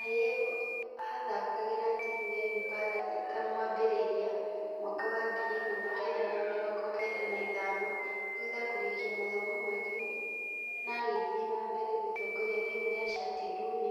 Ayimbo athakagĩra timũ ya impala eta mwambĩrĩrĩria (raini ya thutha) mwaka wa ngiri ĩmwe na kenda na mĩrongo kenda na ithano thutha kũrĩkia mathomo make na agĩthie na mbere gũtongoria timũ ya shati ndune.